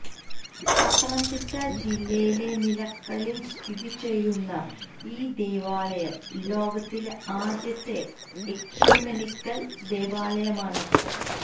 പത്തനംതിട്ട ജില്ലയിലെ നിലയ്ക്കലില് സ്ഥിതി ചെയ്യുന്ന ഈ ദേവാലയം ലോകത്തിലെ ആദ്യത്തെ എക്യുമെനിക്കല് ദേവാലയമാണ്